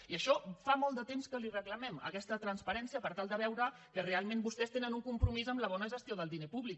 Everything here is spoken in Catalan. i això fa molt de temps que li ho reclamem aquesta transparència per tal de veure que realment vostès tenen un compromís amb la bona gestió del diner públic